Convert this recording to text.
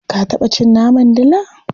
Ka taɓa cin naman dila?